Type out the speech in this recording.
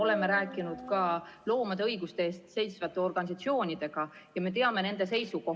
Oleme rääkinud ka loomade õiguste eest seisvate organisatsioonidega ja me teame nende seisukohti ...